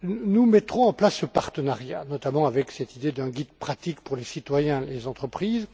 Nous mettrons en place ce partenariat, notamment avec cette idée d'un guide pratique pour les citoyens et les entreprises.